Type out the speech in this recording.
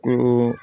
Ko